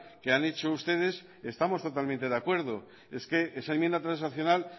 que han hecho ustedes estamos totalmente de acuerdo es que esa enmienda transaccional